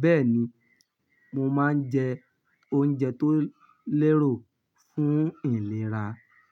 Bẹ́ẹ̀ni, mo máa ń jẹ oúnjẹ tó lérò fún ìlera.